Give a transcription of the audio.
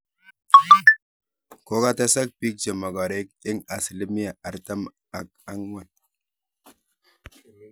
Kokotesak biik chemagareek eng asilimia artam ak angwan